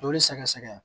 Joli sɛgɛsɛgɛ